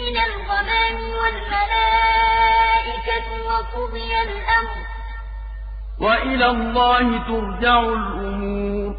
مِّنَ الْغَمَامِ وَالْمَلَائِكَةُ وَقُضِيَ الْأَمْرُ ۚ وَإِلَى اللَّهِ تُرْجَعُ الْأُمُورُ